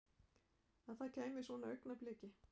Að það kæmi að svona augnabliki.